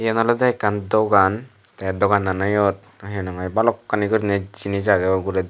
eyen olodey ekkan dogan tey doganano eyot na hinahoi balokkani guriney jinis agey uguredi.